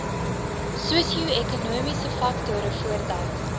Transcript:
sosioekonomiese faktore voordat